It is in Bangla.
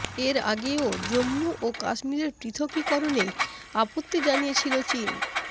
এর আগেও জম্মু ও কাশ্মীরের পৃথকীকরণে আপত্তি জানিয়েছিল চিন